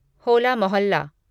होला मोहल्ला